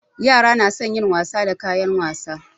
Yara na son wasa da kayan wasa.